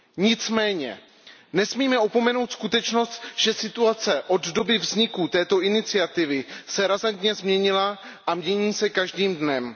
Nicméně nesmíme opomenout skutečnost, že se situace od doby vzniku této iniciativy razantně změnila a mění se každým dnem.